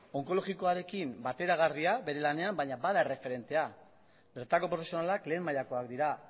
onkologikoarekin bateragarria bere lanean baina bada erreferentea bertako profesionalak lehen mailakoak dira